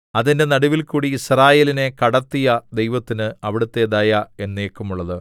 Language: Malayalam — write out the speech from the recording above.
അതിന്റെ നടുവിൽകൂടി യിസ്രായേലിനെ കടത്തിയ ദൈവത്തിന് അവിടുത്തെ ദയ എന്നേക്കുമുള്ളത്